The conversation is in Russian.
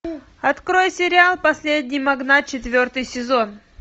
открой сериал последний магнат четвертый сезон